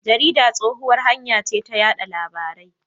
Jarida tsohuwar hanya ce ta yada labarai.